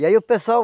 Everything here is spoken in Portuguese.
E aí o pessoal